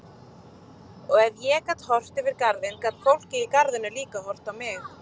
Og ef ég gat horft yfir garðinn gat fólkið í garðinum líka horft á mig.